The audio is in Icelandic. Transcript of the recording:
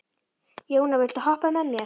Jóna, viltu hoppa með mér?